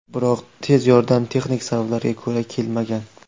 Biroq tez yordam texnik sabablarga ko‘ra kelmagan.